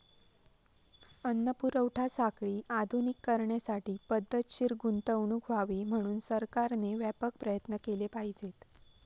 अन्न पुरवठा साखळी आधुनिक करण्यासाठी पद्धतशीर गुंतवणूक व्हावी म्हणून सरकारने व्यापक प्रयत्न केले पाहिजेत.